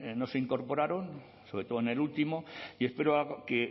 no se incorporaron sobre todo en el último y espero que